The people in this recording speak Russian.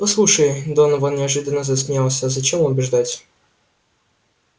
послушай донован неожиданно засмеялся зачем убеждать